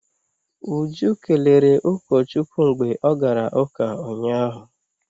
Uju kelere ụkọchukwu mgbe ọ gara ụka ụnyahụ.